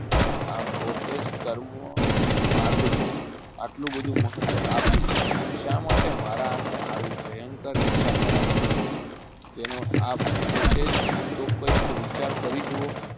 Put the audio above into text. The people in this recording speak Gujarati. આ પોતે જ કર્મ માર્ગ ને આટલું બધું મહત્વ આપી શા માટે મારા હાથે આવી ભયંકર હિંસા કરાવો છો જેનો પોતે જ આપ કંઈ વિચાર કરી જોવો